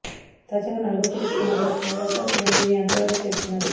తాజాగా నాల్గో సిరీస్ కు మాత్రం మెగా స్టార్ చిరంజీవి యాంకర్ గా చేస్తున్నాడు